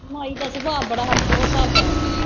ਮਾਈ ਦਾ ਸੁਭਾਅ ਬੜਾ ਹੋਰ ਸਾਬ ਦਾ ਹੈ।